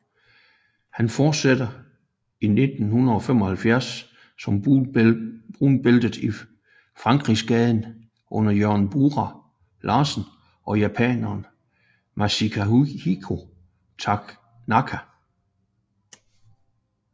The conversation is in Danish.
Han fortsætter i 1975 som brunbælte i Frankrigsgade under Jørgen Bura Larsen og japaneren Masahiko Tanaka